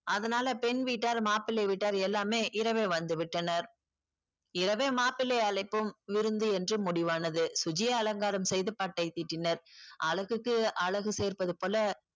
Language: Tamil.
அதுனால பெண் வீட்டார் மாப்பிளை வீட்டார் எல்லாமே இரவே வந்துவிட்டனர் இரவே மாப்பிள்ளை அழைப்பும் விருந்து என்று முடிவானது சுஜியை அலங்காரம் செய்து பட்டைதீட்டினர் அழகுக்கு அழகு சேர்ப்பது போல